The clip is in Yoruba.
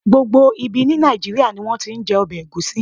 Gbogbo ibi ní Nàìjíríà ni wón ti ń jẹ ọbẹ̀ Ẹ̀gúsí.